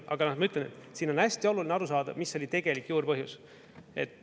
Aga ma ütlen, et siin on hästi oluline aru saada, mis oli tegelik juurpõhjus.